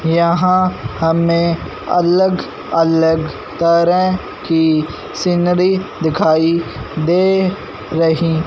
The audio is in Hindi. यहां हमें अलग अलग तरह की सीनरी दिखाई दे रही--